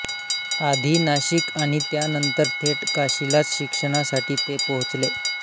आधी नाशिक आणि त्यानंतर थेट काशीलाच शिक्षणासाठी ते पोहचले